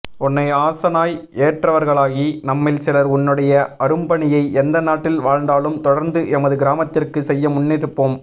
உன்னை ஆசானாய் ஏற்றவர்களாகி நம்மில் சிலர் உன்னுடைய அரும்பணியை எந்த நாட்டில் வாழ்ந்தாலும் தொடர்ந்து எமது கிராமத்திற்கு செய்ய முன்னிற்போம்